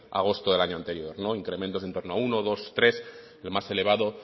a agosto del año anterior incrementos de en torno a uno dos tres el más elevado